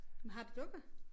Men har det dukker?